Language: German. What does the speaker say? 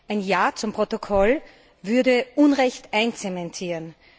Ein Ja zum Protokoll würde Unrecht einzementieren.